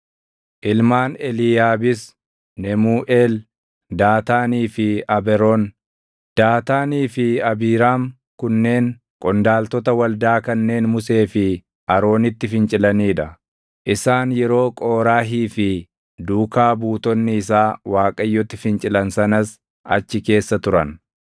ilmaan Eliiyaabis Nemuuʼeel, Daataanii fi Aberoon. Daataanii fi Abiiraam kunneen qondaaltota waldaa kanneen Musee fi Aroonitti fincilanii dha; isaan yeroo Qooraahii fi duukaa buutonni isaa Waaqayyotti fincilan sanas achi keessa turan.